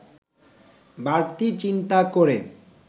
বাড়তি চিন্তা করে